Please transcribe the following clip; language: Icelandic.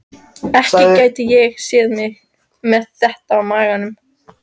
Ekki gæti ég séð mig með þetta á maganum.